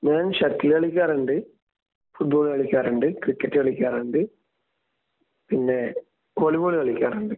ഞാൻ ഷട്ടിൽ കളിക്കാറുണ്ട്. ഫുട്ബോൾ കളിക്കാറുണ്ട്. ക്രിക്കറ്റ് കളിക്കാറുണ്ട് പിന്നെ വോളിബോൾ കളിക്കാറുണ്ട്.